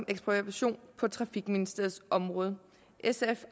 ekspropriation på trafikministeriets område sf